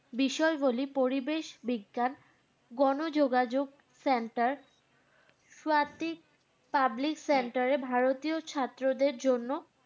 বিষয়গুলি পরিবেশ বিজ্ঞান, গণযোগাযোগ center public centre এ ভারতীয় ছাত্রদের জন্য।